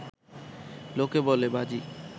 লোকে বলে, বাজি